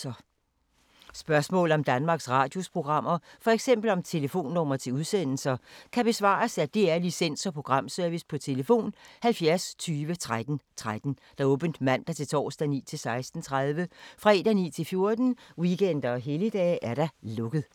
Spørgsmål om Danmarks Radios programmer, f.eks. om telefonnumre til udsendelser, kan besvares af DR Licens- og Programservice: tlf. 70 20 13 13, åbent mandag-torsdag 9.00-16.30, fredag 9.00-14.00, weekender og helligdage: lukket.